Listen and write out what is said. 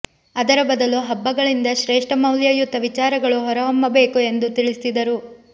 ಅದರ ಬದಲು ಹಬ್ಬಗಳಿಂದ ಶ್ರೇಷ್ಠ ಮೌಲ್ಯಯುತ ವಿಚಾರಗಳು ಹೊರಹೊಮ್ಮಬೇಕು ಎಂದು ತಿಳಿಸಿದರು